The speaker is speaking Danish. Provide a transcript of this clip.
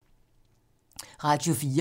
Radio 4